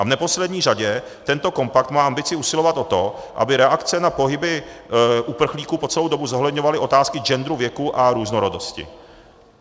A v neposlední řadě tento kompakt má ambici usilovat o to, aby reakce na pohyby uprchlíků po celou dobu zohledňovaly otázky genderu, věku a různorodosti.